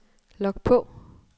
log på